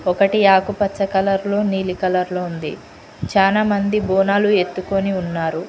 ఒకటి ఆకుపచ్చ కలర్లో నీలి కలర్లో ఉంది చానా మంది బోనాలు ఎత్తుకొని ఉన్నారు.